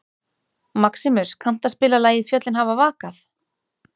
Maximus, kanntu að spila lagið „Fjöllin hafa vakað“?